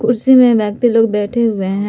कुर्सी में व्यक्ति लोग बैठे हुए है।